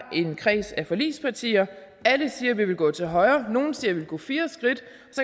en kreds af forligspartier alle siger at vi vil gå til højre nogle siger at de vil gå fire skridt